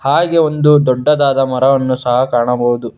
ಹಾಗೆ ಒಂದು ದೊಡ್ಡದಾದ ಮರವನ್ನು ಸಹ ಕಾಣಬಹುದು.